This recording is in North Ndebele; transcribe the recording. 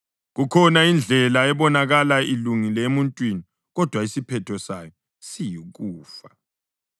Kukhona indlela ebonakala ilungile emuntwini, kodwa isiphetho sayo siyikufa.